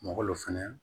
Malo fɛnɛ